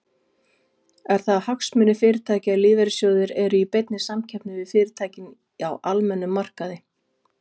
Eru það hagsmunir fyrirtækja að lífeyrissjóðir eru í beinni samkeppni við fyrirtæki á almennum markaði?